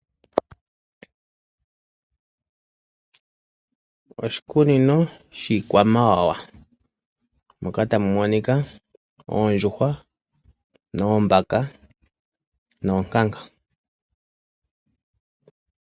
Oshikunino shiikwamawawa moka tamu monika oondjuhwa, oombaka noonkanga.